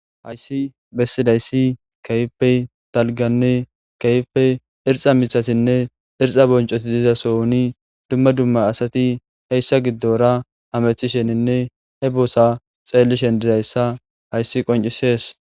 Haysi besisdays kehipe daliganne kehipe erxa mithatinne erxa bonchoti de'iza sohonni dumma dumma assati heysa gidora hametishinine he besa xelishe dizaysa haysi kinchises